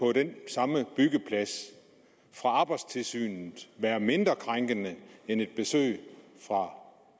den samme byggeplads fra arbejdstilsynet være mindre krænkende end et besøg fra